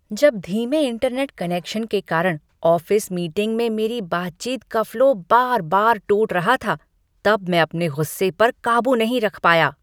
जब धीमे internet connection के कारण ऑफिस मीटिंग में मेरी बातचीत का फ़्लो बार बार टूट रहा था तब मैं अपने गुस्से पर काबू नहीं रख पाया।